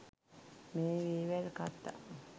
මේ වේවැල් කතා